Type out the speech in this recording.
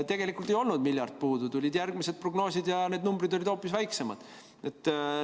Tegelikult ei olnud miljard puudu, tulid järgmised prognoosid ja need numbrid olid hoopis väiksemad.